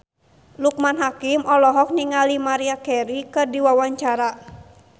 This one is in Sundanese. Loekman Hakim olohok ningali Maria Carey keur diwawancara